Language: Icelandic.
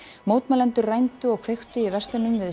mótmælendur rændu og kveiktu í verslunum við